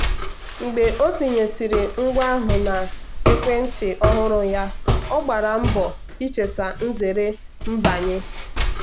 mgbe ọ tinyesịrị ngwa ahụ na ekwentị ọhụrụ ya ọ gbara mbọ icheta nzere mbanye.